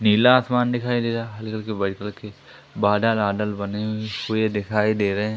नीला आसमान दिखाई दे रहा है। हल्के-हल्के व्हाइट कलर के बादल-वादल बने हुए दिखाई दे रहे हैं।